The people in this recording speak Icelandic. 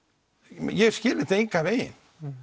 ég skil þetta engan veginn